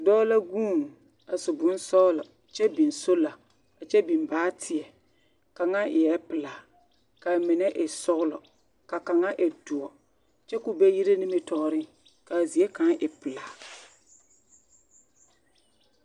Dɔɔ la vuune a su bonsɔglɔ kyɛ biŋ solar kyɛ biŋ baateɛ kaŋa eɛɛ pelaa ka mine e sɔglɔ ka kaŋa a e doɔre kyɛ ka o be yire nimitɔɔre ka a zie kaŋ e pelaa.